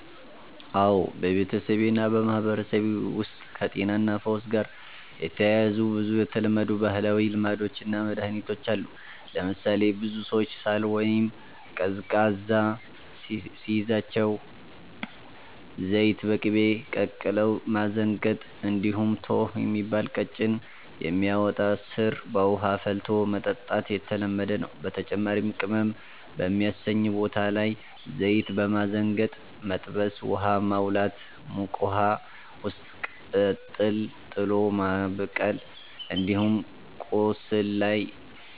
አዎ፣ በቤተሰቤ እና በማህበረሰቤ ውስጥ ከጤናና ፈውስ ጋር የተያያዙ ብዙ የተለመዱ ባህላዊ ልማዶች እና መድኃኒቶች አሉ። ለምሳሌ ብዙ ሰዎች ሳል ወይም ቀዝቃዛ ሲይዛቸው ዘይት በቅቤ ቀቅለው ማዘንገጥ፣ እንዲሁም “ቶኅ” የሚባል ቀጭን የሚያወጣ ሥር በውሃ ፈልቶ መጠጣት የተለመደ ነው። በተጨማሪም ቅመም በሚያሰኝ ቦታ ላይ ዘይት በማዘንገጥ መጥበስ፣ “ውሃ ማዋላት” (ሙቅ ውሃ ውስጥ ቅጠል ጥሎ ማበቀል)፣ እንዲሁም ቆስል ላይ